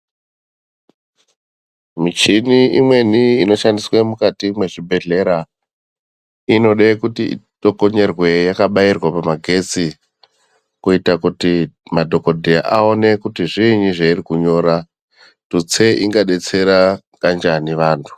Michini imweni inoshandiswe mukati mwezvibhehlera inode kuti itokonyorwe yakabairwa pamagetsi kuita kuti madhogodhera aone kuti zviinyi zvairi kunyora, tutsei ingadetsera kanjani vantu